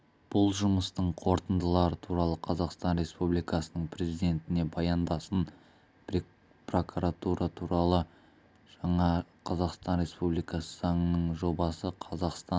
бұл жұмыстың қорытындылары туралы қазақстан республикасының президентіне баяндасын прокуратура туралы жаңа қазақстан республикасы заңының жобасы қазақстан